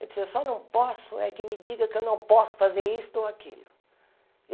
Eu disse, eu só não posso é que me diga que eu não posso fazer isto ou aquilo.